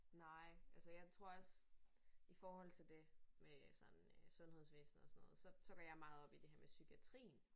Nej altså jeg tror også i forhold til det med sådan øh sundhedsvæsnet og sådan noget så så går jeg meget op i det her med psykiatrien